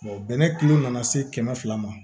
bɛnɛ kilo nana se kɛmɛ fila ma